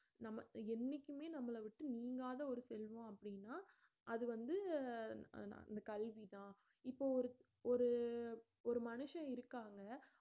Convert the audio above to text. நம்ம என்னைக்குமே நம்மளை விட்டு நீங்காத ஒரு செல்வம் அப்டின்னா அது வந்து அந்த கல்வி தான் இப்ப ஒரு ஒரு மனுஷன் இருக்காங்க